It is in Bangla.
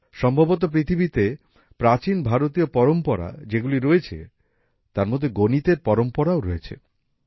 সম্ভবত পৃথিবীতে প্রাচীন ভারতীয় পরম্পরা যেগুলি রয়েছে তার মধ্যে গণিতের পরম্পরাও রয়েছে